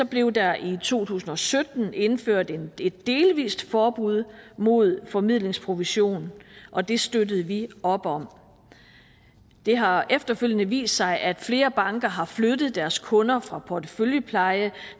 blev der i to tusind og sytten indført et delvist forbud mod formidlingsprovision og det støttede vi op om det har efterfølgende vist sig at flere banker har flyttet deres kunder fra porteføljepleje